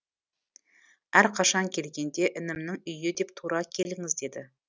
әрқашан келгенде інімнің үйі деп тура келіңіз деді